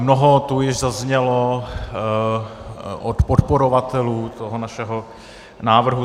Mnoho tu již zaznělo od podporovatelů toho našeho návrhu.